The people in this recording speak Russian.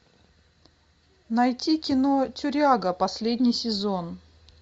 найти кино тюряга последний сезон